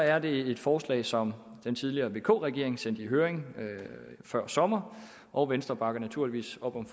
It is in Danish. er det et forslag som den tidligere vk regering sendte i høring før sommer og venstre bakker naturligvis op om